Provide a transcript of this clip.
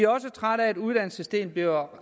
også trætte af at uddannelsessystemet bliver